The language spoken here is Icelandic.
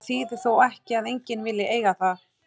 Það þýðir þó ekki að enginn vilji eiga það.